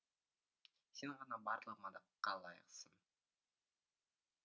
сен ғана барлық мадаққа лайықсың